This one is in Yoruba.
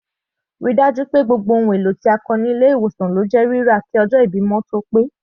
Ríi dájú pé gbogbo ohùn èlò tí a kọ dé ilé ìwòsan kí ọjọ́ ìbímọ tó pé.